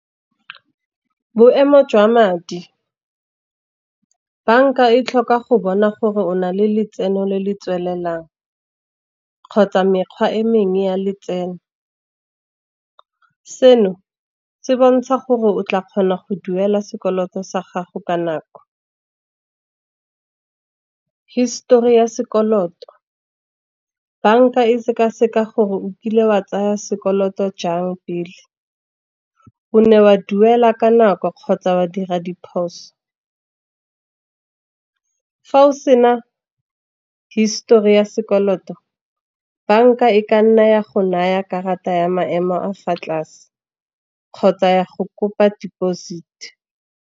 Boemo jwa madi, bank-a e tlhoka go bona gore o na le letseno le le tswelelang, kgotsa mekgwa e mengwe ya letseno. Seno se bontsha gore o tla kgona go duela sekoloto sa gago ka nako. Histori ya sekoloto bank-a e sekaseka gore o kile wa tsaya sekoloto jang pele, o ne wa duela ka nako kgotsa wa dira diphoso. Fa o sena histori ya sekoloto, bank-a e ka nna ya go naya karata ya maemo a fa tlase, kgotsa ya go kopa deposit.